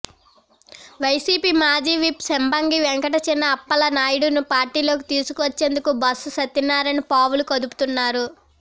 YCP మాజీ whip Sambangi Venkata China Appala నాయుడును పార్టీలోకి తీసుకు వచ్చేందుకు బొత్స సత్యనారాయణ పావులు కదుపుతున్నారు